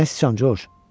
Nə sıçan, Coç?